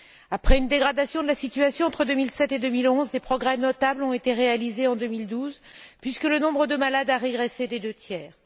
Après une dégradation de la situation entre 2007 et 2011, des progrès notables ont été réalisés en 2012, puisque le nombre de malades a régressé de deux tiers.